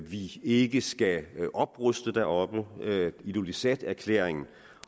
vi ikke skal opruste deroppe ilulissaterklæringen